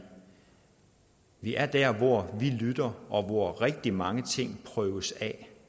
vi derfor er der hvor vi lytter og hvor rigtig mange ting prøves af